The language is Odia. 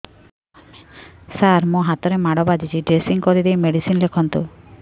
ସାର ମୋ ହାତରେ ମାଡ଼ ବାଜିଛି ଡ୍ରେସିଂ କରିଦେଇ ମେଡିସିନ ଲେଖନ୍ତୁ